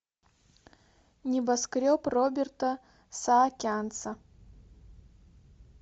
небоскреб роберта саакянца